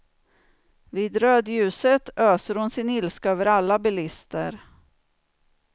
Vid rödljuset öser hon sin ilska över alla bilister.